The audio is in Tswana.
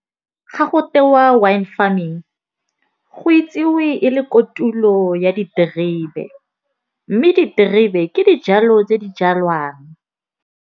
Ga go tewa wine farming go itsiwe e le kotulo ya diterebe. Mme diterebe ke dijalo tse di jalwang.